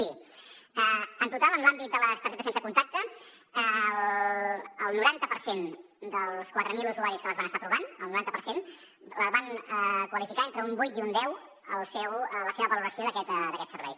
miri en total en l’àmbit de les targetes sense contacte el noranta per cent dels quatre mil usuaris que les van estar provant el noranta per cent van qualificar entre un vuit i un deu la seva valoració d’aquest servei